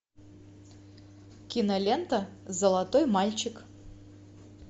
кинолента золотой мальчик